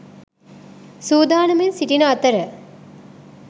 සූදානමින් සිටින අතර